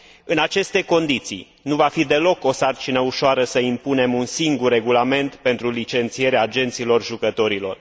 În aceste condiții, nu va fi deloc o sarcină ușoară să impunem un singur regulament pentru licențierea agenților jucătorilor.